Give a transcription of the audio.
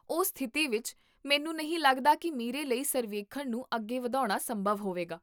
ਉਸ ਸਥਿਤੀ ਵਿੱਚ, ਮੈਨੂੰ ਨਹੀਂ ਲੱਗਦਾ ਕੀ ਮੇਰੇ ਲਈ ਸਰਵੇਖਣ ਨੂੰ ਅੱਗੇ ਵਧਾਉਣਾ ਸੰਭਵ ਹੋਵੇਗਾ